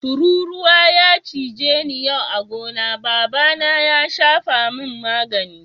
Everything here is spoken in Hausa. Tururuwa ya cije ni yau a'gona, baba na ya safa mun magani.